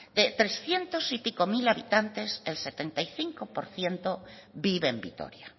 de trescientos y pico mil habitantes el setenta y cinco por ciento vive en vitoria